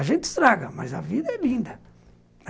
A gente estraga, mas a vida é linda.